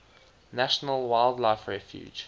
national wildlife refuge